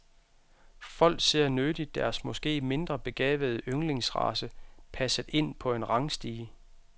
Folk ser nødig deres måske mindre begavede yndlingsrace passet ind på en rangstige.